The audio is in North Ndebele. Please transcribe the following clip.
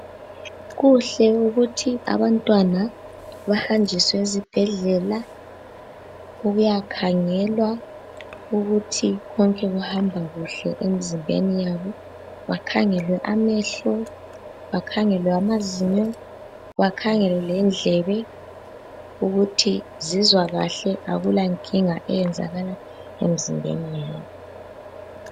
Kuhle ukuthi abantwana bahanjiswe ezibhedlela ukuyakhangelwa ukuthi konke kuhamba kuhle emzimbeni yabo. Bakhangelwe amehlo, bakhangelwe amazinyo, bakhangelwe lendlebe ukuthi zizwa kahle, akulankinga eyenzakalayo emizimbeni yabo.